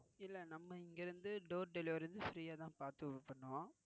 இல்ல இங்க இருந்து door delivery வந்து free ஆஹ் தான் பாத்து விட்டுருவோம்.